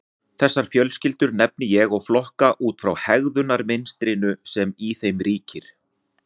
Þessar fjölskyldur nefni ég og flokka út frá hegðunarmynstrinu sem í þeim ríkir.